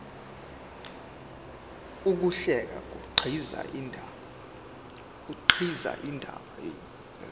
ukuhlela kukhiqiza indaba